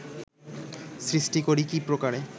সৃষ্টি করি কী প্রকারে